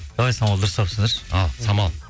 давай самал дұрыстап түсіндірші ал самал